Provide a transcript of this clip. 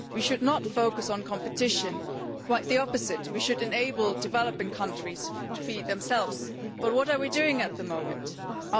We should not focus on competition quite the opposite we should enable developing countries to feed themselves. What are we doing at the moment, though?